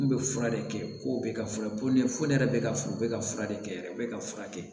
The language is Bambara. N'u bɛ fura de kɛ ko bɛ ka fura ne fɔ ne yɛrɛ bɛ ka furu bɛ ka fura de kɛ yɛrɛ u bɛ ka fura kɛ